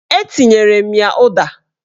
Etinyere m ya ụda